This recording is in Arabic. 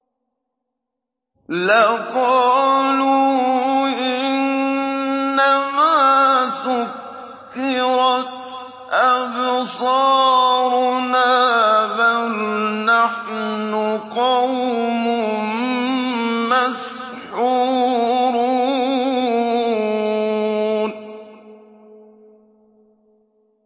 لَقَالُوا إِنَّمَا سُكِّرَتْ أَبْصَارُنَا بَلْ نَحْنُ قَوْمٌ مَّسْحُورُونَ